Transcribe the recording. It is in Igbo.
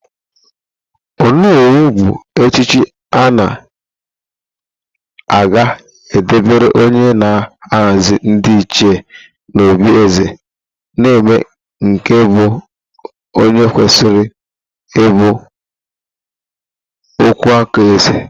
Ónówù bụ echichi a ga-debere onye na-ahazi ndị ịchie n'òbí eze na-eme nke bụ onye kwesịrị ịbụ ọkwụáká eze.